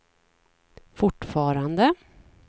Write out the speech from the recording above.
fortfarande